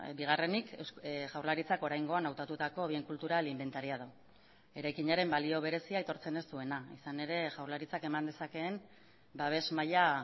bigarrenik jaurlaritzak oraingoan hautatutako bien cultural inventariado eraikinaren balio berezia aitortzen ez duena izan ere jaurlaritzak eman dezakeen babes maila